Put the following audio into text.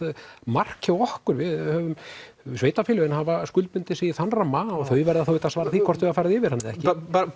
mark hjá okkur sveitarfélögin hafa skuldbundið sig í þann ramma og þau verða þá auðvitað að svara því hvort þau hafa farið yfir hann eða ekki